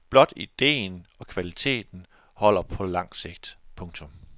Blot ideen og kvaliteten holder på langt sigt. punktum